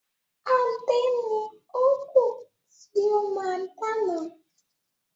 Adé ni ó kú tí ó máa dáná.